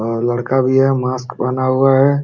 और लड़का भी है मास्क पहना हुआ है।